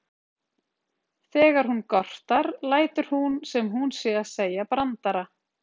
Þegar hún gortar lætur hún sem hún sé að segja brandara.